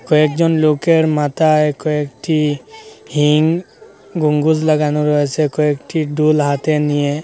কয়েকজন লোকের মাথায় কয়েকটি হিং গম্বুজ লাগানো রয়েসে কয়েকটি ডুল হাতে নিয়ে।